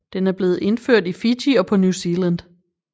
Den er blevet indført i Fiji og på New Zealand